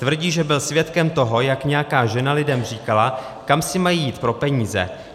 Tvrdí, že byl svědkem toho, jak nějaká žena lidem říkala, kam si mají jít pro peníze.